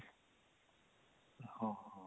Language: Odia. ହଁ ହଁ